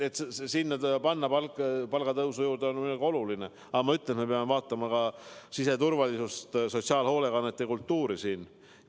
Panna neile palka juurde on muidugi oluline, aga ma ütlen, et me peame vaatama ka siseturvalisust, sotsiaalhoolekannet ja kultuuri.